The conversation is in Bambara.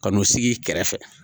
Kan'u sigi i kɛrɛfɛ.